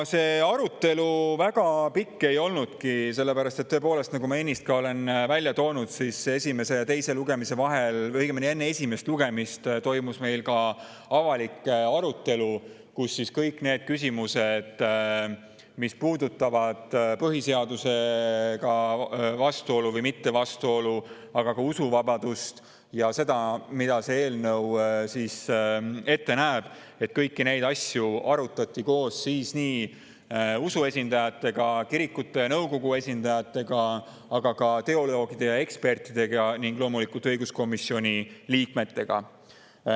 Arutelu väga pikk ei olnudki, sest tõepoolest, nagu ma ennist ka välja tõin, esimese ja teise lugemise vahel, õigemini enne esimest lugemist toimus meil ka avalik arutelu, kus kõiki neid küsimusi, mis puudutavad seda, kas on vastuolu põhiseadusega või mitte, aga ka usuvabadust ja seda, mida see eelnõu ette näeb, kõiki neid asju arutati koos kirikute nõukogu esindajatega, aga ka teoloogide ja ekspertidega ning loomulikult õiguskomisjoni liikmetega.